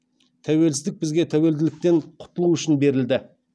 тәуелсіздік бізге тәуелділіктен құтылу үшін берілді